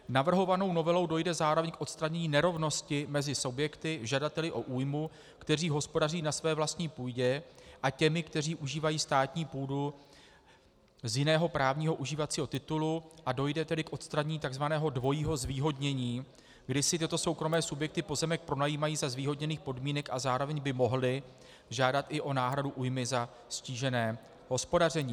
Navrhovanou novelou dojde zároveň k odstranění nerovnosti mezi subjekty, žadateli o újmu, kteří hospodaří na své vlastní půdě, a těmi, kteří užívají státní půdu z jiného právního užívacího titulu, a dojde tedy k odstranění tzv. dvojího zvýhodnění, kdy si tyto soukromé subjekty pozemek pronajímají za zvýhodněných podmínek a zároveň by mohly žádat i o náhradu újmy za ztížené hospodaření.